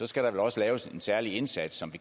skal der vel også laves en særlig indsats som